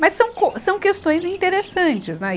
Mas são co, são questões interessantes, né e?